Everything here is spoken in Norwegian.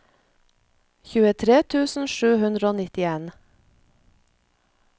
tjuetre tusen sju hundre og nittien